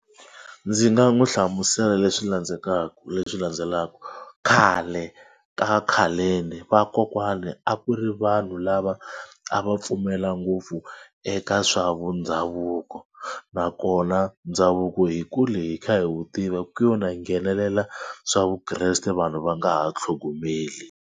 Ndzi nga n'wi hlamusela leswi landzetaku leswi landzelaka khale ka khaleni vakokwani a ku ri vanhu lava a va pfumela ngopfu eka swa vundhavuko nakona ndhavuko hi kule hi kha hi wu tiva ku yo na nghenelela swa vukreste vanhu va nga ha tlhogomeli.